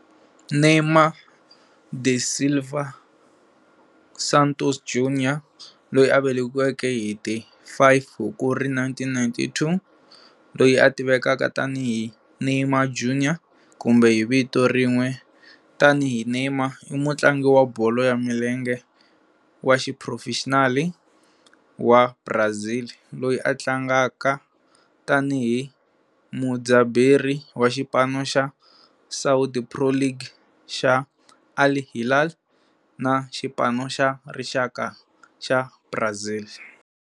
Neymar da Silva Santos Júnior, loyi a velekiweke hi ti 5 Hukuri 1992, loyi a tivekaka tani hi Neymar Júnior kumbe hi vito rin'we tani hi Neymar, i mutlangi wa bolo ya milenge wa xiphurofexinali wa Brazil loyi a tlangaka tani hi mudzaberi wa xipano xa Saudi Pro League xa Al Hilal na xipano xa rixaka xa Brazil.